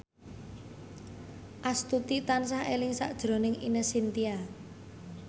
Astuti tansah eling sakjroning Ine Shintya